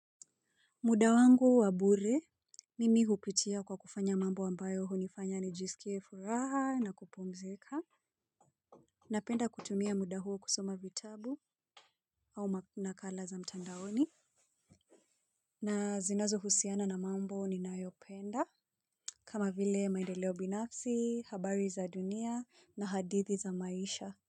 Muda wangu wabure, mimi hupitia kwa kufanya mambo ambayo hunifanya nijisikie furaha na kupumzika. Napenda kutumia muda huo kusoma vitabu au nakala za mtandaoni. Na zinazo husiana na mambo ninayopenda. Kama vile maendeleo binafsi, habari za dunia na hadithi za maisha.